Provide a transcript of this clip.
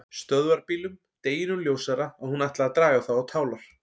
Stöðvarbílum, deginum ljósara að hún ætlaði að draga þá á tálar.